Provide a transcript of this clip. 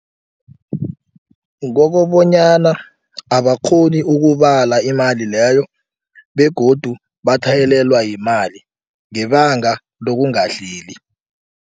Kokobonyana abakghoni ukubala imali leyo begodu batlhayelelwa yimali ngebanga lokungahleli.